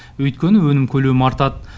өйткені өнім көлемі артады